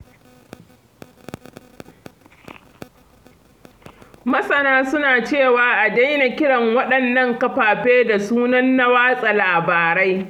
Masana suna cewa a daina kiran waɗannan kafafe da sunan na watsa labarai.